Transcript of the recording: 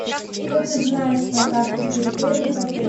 что ты знаешь про карту территории в отеле